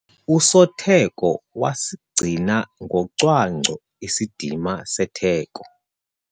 Usotheko wasigcina ngocwangco isidima setheko.